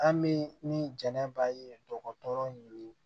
An bɛ ni jɛnɛba ye dɔgɔtɔrɔ yurugu